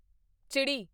ਚਿੜੀ